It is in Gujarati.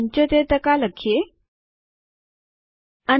છેલ્લી પંક્તિમાં પ્રથમ કોષ પર ક્લિક કરો અને લખો પોસ્ટ ગ્રેજ્યુએશન ૭૦ લખો